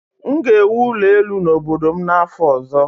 M ga-ewu ụlọ elu n'obodo m n'afọ ọzọ.